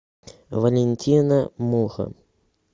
валентина муха